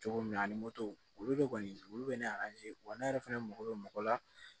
Cogo min na ani moto olu de kɔni olu bɛ ne wa ne yɛrɛ fɛnɛ mako bɛ mɔgɔ la